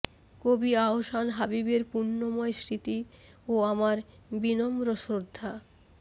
কবি আহসান হাবীবের পুণ্যময় স্মৃতি ও আমার বিনম্র শ্রদ্ধা